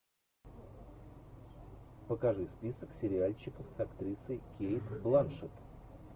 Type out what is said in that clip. покажи список сериальчиков с актрисой кейт бланшетт